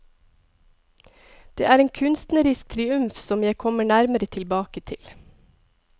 Det er en kunstnerisk triumf som jeg kommer nærmere tilbake til.